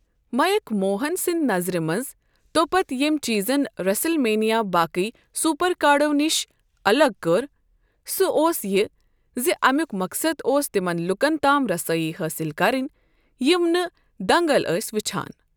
Make Mohan سنٛدۍ نظرِ منٛز، تۄپتہٕ، ییمۍ چیزن ریسل مینیا باقی سپر کارڈو نِش الگ کٔر، سُہ اوس یہِ زِ امیک مقصد اوس تِمَن لوٗکن تام رسائی حٲصِل کَرٕنۍ یِم نہٕ دَنٛگل ٲسۍ وچھان۔